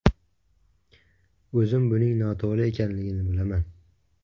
O‘zim buning noto‘g‘ri ekanligini bilaman.